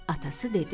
Atası dedi: